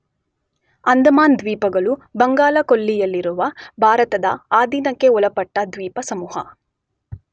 ಅಂಡಮಾನ್ ದ್ವೀಪಗಳು ಬಂಗಾಳ ಕೊಲ್ಲಿಯಲ್ಲಿರುವ ಭಾರತದ ಆಧೀನಕ್ಕೆ ಒಳಪಟ್ಟ ದ್ವೀಪ ಸಮೂಹ.